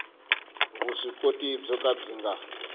vuswikoti byo ka byi nga